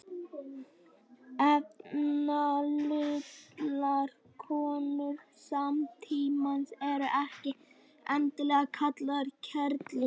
efnalitlar konur samtímans eru ekki endilega kallaðar kerlingar